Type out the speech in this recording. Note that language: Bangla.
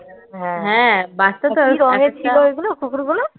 হ্যাঁ বাচ্চা তো কি রঙের ছিল ওই কুকুরগুলো